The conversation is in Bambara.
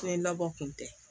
Ne labɔ kun tɛ